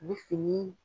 U bɛ fini